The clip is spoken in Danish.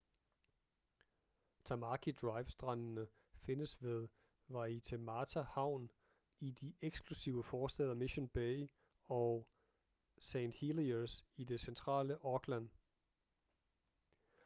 tamaki drive strandene findes ved waitemata havn i de eksklusive forstæder mission bay og st heliers i det centrale auckland